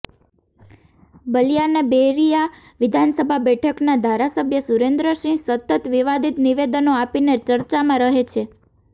બલિયાના બૈરિયા વિધાનસભા બેઠકના ધારાસભ્ય સુરેન્દ્ર સિંહ સતત વિવાદિત નિવેદનો આપીને ચર્ચામાં રહે છે